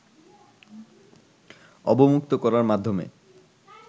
অবমুক্ত করার মাধ্যমে